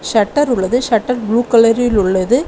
Shutter உள்ளது. Shutter blue கலரில் உள்ளது.